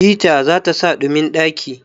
hita zata sa ɗumin ɗaki